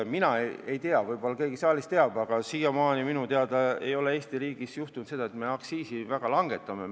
Mina ei tea, võib-olla keegi saalis teab, aga siiamaani minu teada ei ole Eesti riigis juhtunud seda, et me aktsiisi langetame.